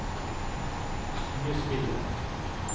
skuespilleren